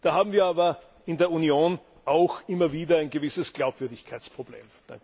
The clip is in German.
Da haben wir aber in der Union auch immer wieder ein gewisses Glaubwürdigkeitsproblem.